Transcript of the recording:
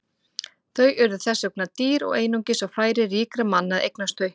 Þau voru þess vegna dýr og einungis á færi ríkra manna að eignast þau.